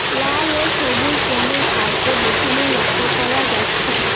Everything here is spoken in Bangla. লাল ও সবুজ রঙের কার্পেট বিছানো লক্য করা যাচ্ছে।